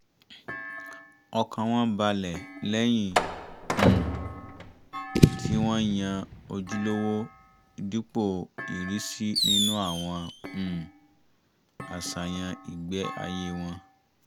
ọkàn wọn balẹ̀ lẹ́yìn um tí wọ́n yan ojúlówó dípò ìrísí nínú àwọn um àṣàyàn ìgbé-ayé wọn